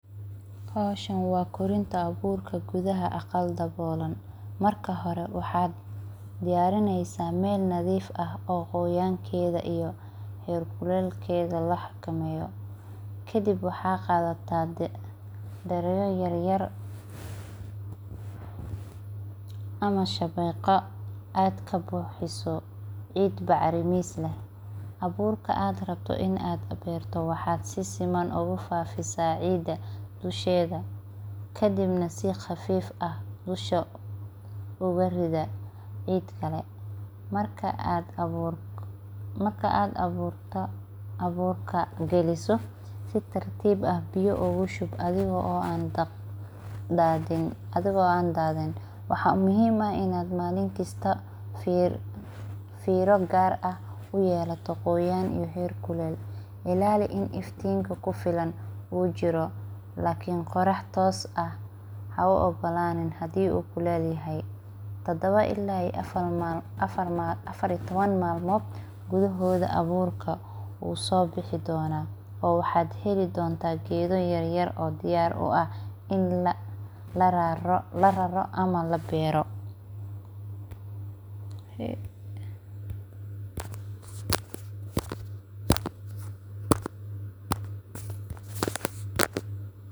Howshan waa korinta bolka gudhaha aqal dabolan marka hore maxaa diyarineysa meel nadhif ah oo qoyankeeda iyo kulelkeda laxakameyo, kadiib waxaa qadataa taledho yar yar ama shaqiqa aad kabuxiso bacrimin aburka aa aburka aa beerto in aa beerto waxaa si siman oga buxisa cida kadibna si qafif ah oga rida dusha uga ridha cid kale marka aad aburto aburka galiso si tartib ah biya ogu shub athiga oo an dadhini, waxaa muhiim ah in malinkasta aa usameyso filo gar ah, si iftin kufilan u jiro lakin qorax tos ah ahu igolanin hadii u kulel yahay tadawa ila afar iyo tawan malin aburka wusobixi dona oo waxaa hili. donta geedo yar yar oo diyar u ah in lararo ama labero.